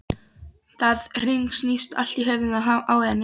Það hringsnýst allt í höfðinu á henni.